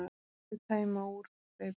Og þau tæma úr staupunum.